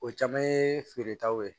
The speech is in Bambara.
O caman ye feeretaw ye